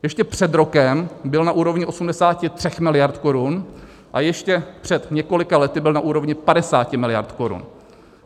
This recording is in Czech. Ještě před rokem byl na úrovni 83 miliard korun a ještě před několika lety byl na úrovni 50 miliard korun.